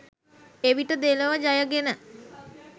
එවිට දෙලොව ජයගෙන